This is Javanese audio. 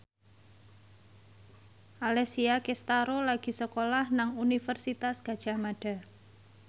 Alessia Cestaro lagi sekolah nang Universitas Gadjah Mada